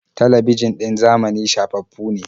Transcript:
Talabijin ɗin zamani shafaffu ne.